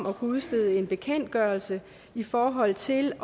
at kunne udstede en bekendtgørelse i forhold til